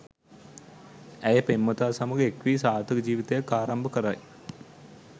ඇය පෙම්වතා සමඟ එක් වී සාර්ථක ජීවිතයක් ආරම්භ කරයි